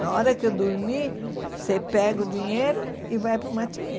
Na hora que eu dormir, você pega o dinheiro e vai para o matinê.